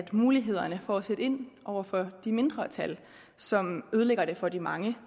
mulighederne for at sætte ind over for de mindretal som ødelægger det for de mange